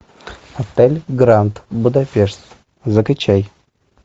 отель гранд будапешт закачай